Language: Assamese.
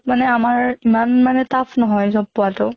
মানে আমাৰ ইমান মানে tough নহয় job পোৱাতো।